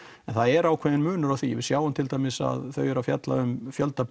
en það er ákveðinn munur á því við sjáum til dæmis að þau eru að fjalla um fjölda